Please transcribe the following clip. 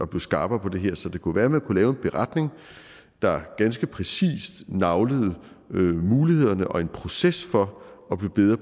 blive skarpere på det her så det kunne være at man kunne lave en beretning der ganske præcist naglede mulighederne og en proces for at blive bedre